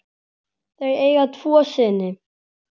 Þau eiga tvo syni.